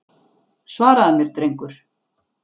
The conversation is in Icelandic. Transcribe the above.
Svaraðu mér drengur!